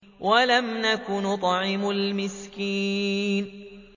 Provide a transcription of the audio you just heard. وَلَمْ نَكُ نُطْعِمُ الْمِسْكِينَ